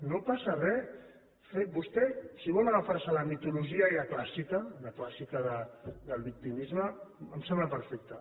no passa re vostè si vol agafar se a la mitologia ja clàssica la clàssica del victimisme em sembla perfecte